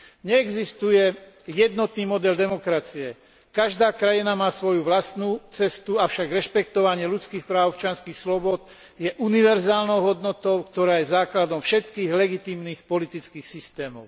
Neexistuje jednotný model demokracie, každá krajina má svoju vlastnú cestu, avšak rešpektovanie ľudských práv a občianskych slobôd je univerzálnou hodnotou, ktorá je základom všetkých legitímnych politických systémov.